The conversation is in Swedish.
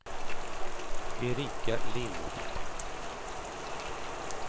Erika Lind